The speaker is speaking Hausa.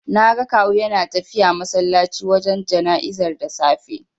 Naga Kawu yana tafiya masallaci wajen jana'izar da safe.